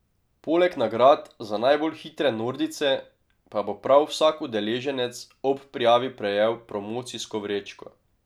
Poleg nagrad za najbolj hitre nordijce pa bo prav vsak udeleženec ob prijavi prejel promocijsko vrečko.